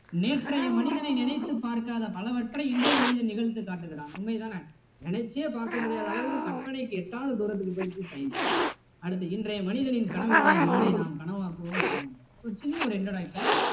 நேற்றைய மனிதனை நினைத்துப் பார்க்காத பலவற்றை இன்றைய மனிதன் நிகழ்த்தி காட்டுகிறான் உண்மை தானே நினைச்சே பார்க்க முடியாத அளவுக்கு கற்பனைக்கு எட்டாத தூரத்திற்கு போயிடுச்சு science அடுத்து இன்றைய மனிதனின் கனவுகளை நாளை நாம் கனவாக்குவோம் வாருங்கள் ஒரு சின்ன ஒரு introduction